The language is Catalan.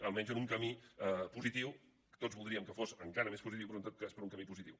almenys en un camí positiu tots voldríem que fos encara més positiu però en tot cas per a un camí positiu